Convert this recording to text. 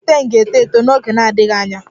The plantain ga-eto eto n'oge na-adịghị anya